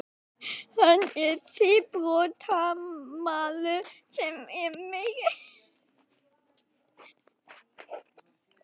Hann er síbrotamaður sem er meira innan fangelsisveggja en utan.